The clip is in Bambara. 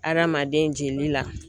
Adamaden jeli la